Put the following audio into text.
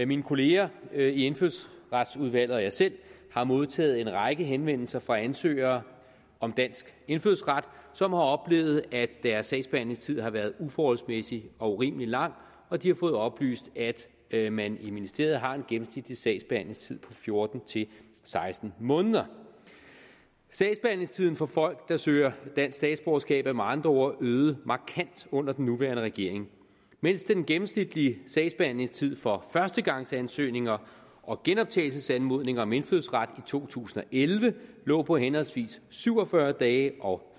mine kollegaer i indfødsretsudvalget og jeg selv har modtaget en række henvendelser fra ansøgere om dansk indfødsret som har oplevet at deres sagsbehandlingstid har været uforholdsmæssig og urimelig lang og de har fået oplyst at man i ministeriet har en gennemsnitlig sagsbehandlingstid fjorten til seksten måneder sagsbehandlingstiden for folk der søger dansk statsborgerskab er med andre ord øget markant under den nuværende regering mens den gennemsnitlige sagsbehandlingstid for førstegangsansøgninger og genoptagelsesanmodninger om indfødsret i to tusind og elleve lå på henholdsvis syv og fyrre dage og